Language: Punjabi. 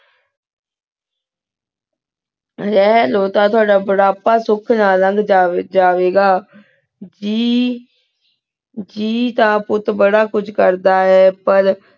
ਰਹ੍ਲੋ ਟੀ ਤੁਵਾਦਾ ਬੁਢ਼ਾਪਾ ਸੁਖ ਨਾਲ ਨਾਗਹ ਜਾਵੀ ਘ ਹਮਮ ਜੇਈ ਤਾਂ ਪੁਤ ਬਾਰਾ ਕੁਛ ਕਰਦਾ ਆਯ